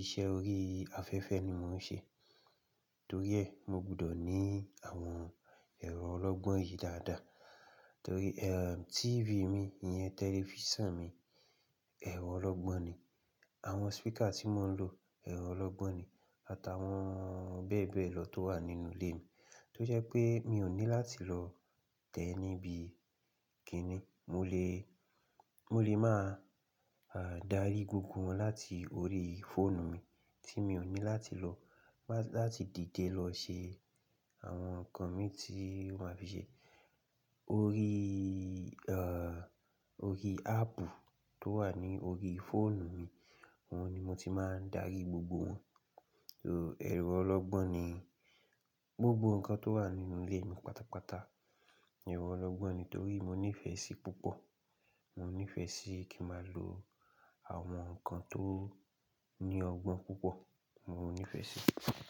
iṣẹ́ orí afẹ́fẹ́ ni mò ń ṣe. Torí ẹ̀, mo gbọdọ̀ ní àwọn ẹ̀rọ ọlọ́gbọ́n yìí dáadáa. Torí TV mi yẹn, tẹlifíṣàn mi ẹ̀rọ ọlọ́gbọ́n ni. Àwọn speaker tí mò ń lò ẹ̀rọ ọlọ́gbọ́n ni. Àtàwọn bẹ́ẹ̀ bẹ́ẹ̀ lọ tó wà nínú ilé mi. Tó jẹ́ pé mi ò ní láti lọ tẹ níbi kíni. Mo lè, mo lè máa darí gbogbo wọn láti orí fóònù mi tí mi ò ní láti lọ, má-- láti dìde lọ ṣe àwọn ǹkan mi tí wọ́n fi ṣe. Orí orí áàpù tó wà ní orí fóònù mi, wọn ni mo ti máa ń darí gbogbo wọn. So ẹ̀rọ ọlọ́gbọ́n ni gbogbo ǹkan tó wà nínú ilé mi pátápátá. Ẹ̀rọ ọlọ́gbọ́n ni torí mo nífẹ̀ẹ́ sí púpọ̀. Mo nífẹ̀ẹ́ sí kí ma lo àwọn ǹkan tó ní ọgbọ́n púpọ̀, mo nífẹ̀ẹ́ sí.